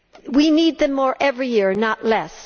We need them more every year, not less.